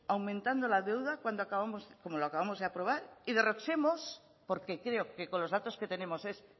aumentando la deuda como lo acabamos de aprobar y derrochemos porque creo que con los datos que tenemos es